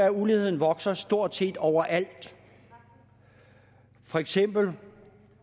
at uligheden vokser stort set overalt for eksempel